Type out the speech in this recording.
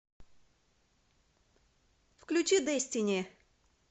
включи дестини